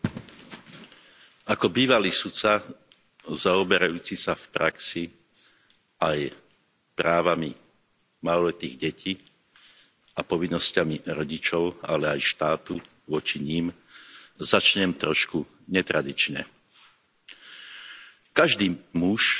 Vážená pani predsedajúca, ako bývalý sudca zaoberajúci sa v praxi aj právami maloletých detí a povinnosťami rodičov, ale aj štátu voči nim, začnem trošku netradične. Každý muž